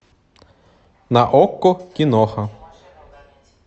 на окко киноха